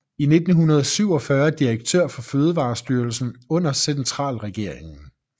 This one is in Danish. I 1947 direktør for fødevarestyrelsen under centralregeringen